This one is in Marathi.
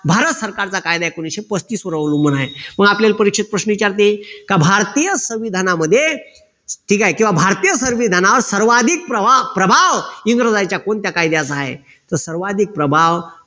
भारत सरकारचा कायदा एकोणविशे पस्तीसवर अवलंबून आहे. मग आपल्याले परीक्षेत प्रश्न विचारते का भारतीय संविधानामध्ये ठीक आहे किंवा भारतीय संविधानावर सर्वाधिक प्रभाव इंग्रजांच्या कोणत्या कायद्याचा आहे तर सर्वाधिक प्रभाव